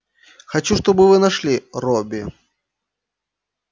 хочу чтобы вы нашли робби